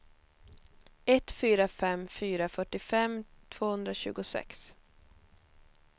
ett fyra fem fyra fyrtiofem tvåhundratjugosex